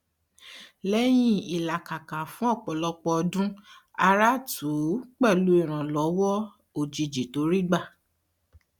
lẹyìn ìlàkàkà fún ọpọlọpọ ọdún ara tù ú pẹlú ìrànlọwọ òjijì tó rí gbà